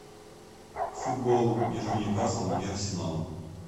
футбол между ньюкаслом и арсеналом